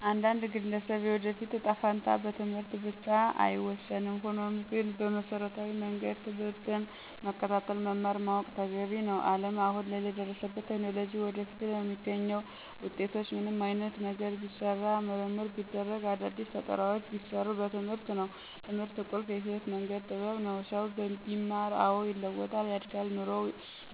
የአንድን ግለሰብ የወደፊት እጣ ፈንታ በትምህርት ብቻ አይወሰንም። ሆኖም ግን በመሰረታዊ መንገድ ትምህርትን መከታተል መማር ማወቅ ተገቢ ነው። አለም አሁን ላይ ለደረሱበት ቴክኖሎጂ ወደፊትም ለሚገኙት ውጤቶች ምንም አይነት ነገር ቢሰራ ምርምር ቢደረግ አዳዲስ ፈጠራውች ቢሰሩ በትምህርት ነው። ትምህርት ቁልፍ የህይወት መንገድ ጥበብ ነው። ሰው ቢማር አዎ ይለዋጣል፣ ያድጋል ኑሮው